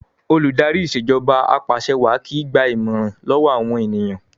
Olùdarí Ìṣèjọba Apàṣẹwàá kìí gba ìmọ̀ràn lọ́wọ́ àwọn ènìyàn